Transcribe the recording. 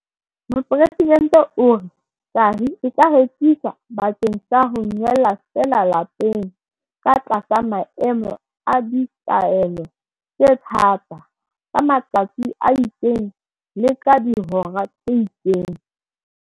Mopresidente o re, "Tahi e ka rekiswa bakeng sa ho nwella feela lapeng ka tlasa maemo a ditaelo tse thata, ka matsatsi a itseng le ka dihora tse itseng."